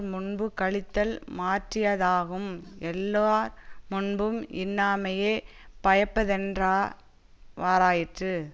முன்பு களித்தல் மாற்றியாதாகும் எல்லார் முன்பும் இன்னாமையே பயப்பதென்றா வாறாயிற்று